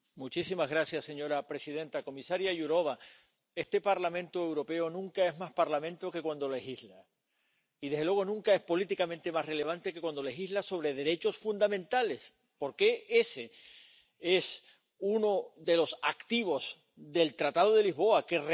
Señora presidenta, comisaria Jourová, este Parlamento Europeo nunca es más Parlamento que cuando legisla y, desde luego, nunca es políticamente más relevante que cuando legisla sobre derechos fundamentales, porque ese es uno de los activos del Tratado de Lisboa, que reconoce